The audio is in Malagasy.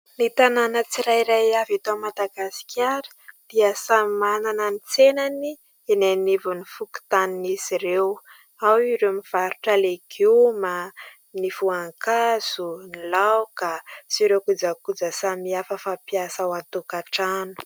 Ny tanàna tsirairay avy eto MadagasIkara dia samy manana ny tsenany eny anivon'ny fokontanin'izy ireo. Ao ireo mivarotra legioma, ny voankazo, ny laoka sy ireo kojakoja samihafa fampiasa ao an-tokantrano.